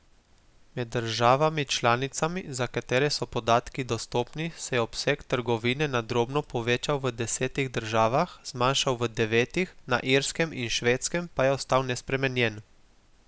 Med državami članicami, za katere so podatki dostopni, se je obseg trgovine na drobno povečal v desetih državah, zmanjšal v devetih, na Irskem in Švedskem pa je ostal nespremenjen.